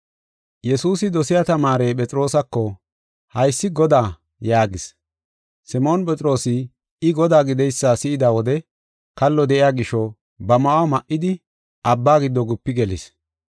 Yesuusi dosiya tamaarey Phexroosako, “Haysi Godaa!” yaagis. Simoon Phexroosi I Godaa gidaysa si7ida wode, kallo de7iya gisho, ba ma7uwa ma7idi abba giddo gupi gelis.